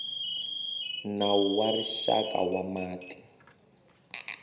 nawu wa rixaka wa mati